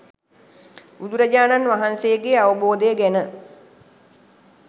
බුදුරජාණන් වහන්සේගේ අවබෝධය ගැන